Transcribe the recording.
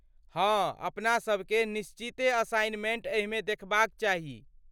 हँ, अपनासभ केँ निश्चिते असाइनमेंट एहिमे देखबाक चाही।